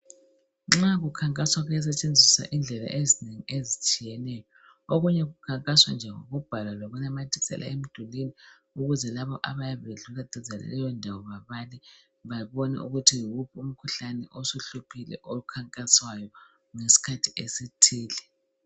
Nxa kukhankaswa kuyasetshenziswa indlela ezinengi ezitshiyeneyo. Okunye kukhankaswa nje ngokubhala lokunamathisela emdulini ukuze labo abayabe bedlula duze laleyo ndawo babale, babone ukuthi yiwuphi umkhuhlane osuhluphile okhankaswayo, ngeskhathi esithile.